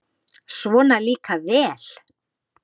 Svona líka vel!